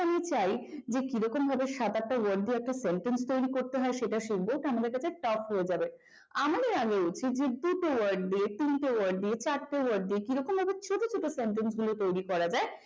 আমি চাই যে কিভাবে সাত আটটা word দিয়ে sentence তৈরি করতে হয় সেটা শিখব তো আমাদের কাছে top রয়ে যাবে আমাদের আগে উচিত যেয়ে দুটো word তিনটে word দিয়ে চারটে word দিয়ে কিরকম ভাবে ছোট ছোট sentence গুলো তৈরি করা যায়